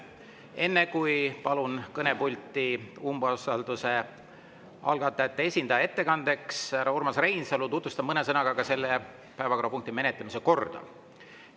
Enne kui palun umbusalduse algatajate esindaja härra Urmas Reinsalu ettekandeks kõnepulti, tutvustan mõne sõnaga selle päevakorrapunkti menetlemise korda.